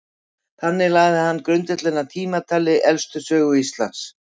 þannig lagði hann grundvöllinn að tímatali elstu sögu íslands